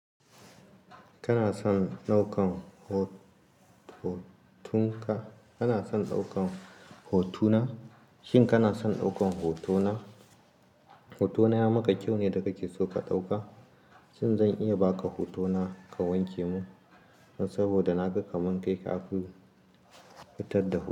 Kana son ɗaukan ho-hotunka, kana son ɗaukan hotona? Shin kana son ɗaukan hotona? Hotona ya maka kyau ne da kake so ka ɗauka. Shin zan iya ba ka hotona ka wanke mun? Saboda na ga kaman kai ka fi fitar da ho.